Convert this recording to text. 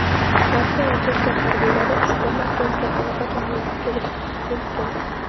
Rossiya va Turkiya harbiylari ushbu markazga allaqachon yetib kelgan.